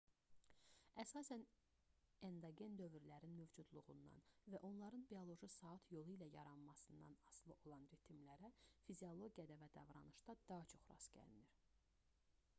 əsasən endogen dövrlərin mövcudluğundan və onların bioloji saat yolu ilə yaranmasından asılı olan ritmlərə fiziologiyada və davranışda daha çox rast gəlinir